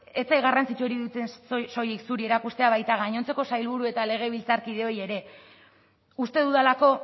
ez zait garrantzitsua iruditzen soilik zuri erakustea baita gainontzeko sailburu eta legebiltzarkideoi ere uste dudalako